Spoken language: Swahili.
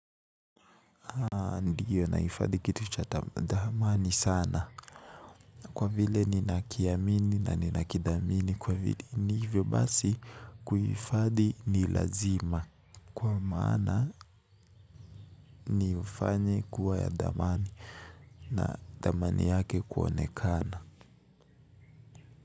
Ndio nahifadhi kitu cha thamani sana. Kwa vile ninakiamini na ninakithamini kwa vile ni hivyo basi kuhifadhi ni lazima. Kwa manaa ni ufanye kuwa ya thamani. Na thamani yake kuonekana.